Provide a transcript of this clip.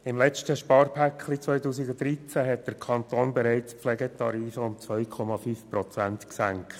Im letzten Sparpaket 2013 hat der Kanton die Pflegetarife bereits um 2,5 Prozent gesenkt.